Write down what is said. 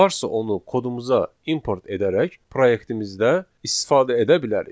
Varsa onu kodumuza import edərək proyektimizdə istifadə edə bilərik.